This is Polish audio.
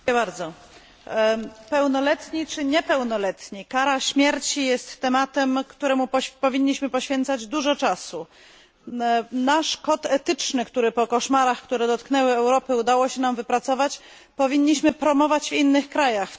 Panie Przewodniczący! Pełnoletni czy niepełnoletni kara śmierci jest tematem, któremu powinniśmy poświęcać dużo czasu. Nasz kod etyczny, który po koszmarach, które dotknęły Europę, udało się nam wypracować, powinniśmy promować w innych krajach.